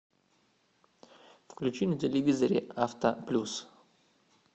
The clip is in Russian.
включи на телевизоре авто плюс